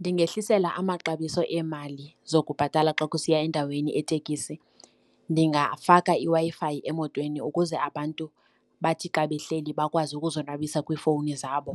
Ndingehlisela amaxabiso eemali zokubhatala xa kusiya endaweni etekisi. Ndingafaka iWi-Fi emotweni ukuze abantu bathi xa behleli bakwazi ukuzonwabisa kwiifowuni zabo,